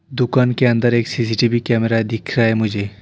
दुकान के अंदर एक सी_सी_टी_वी कैमरा दिख रहा है मुझे।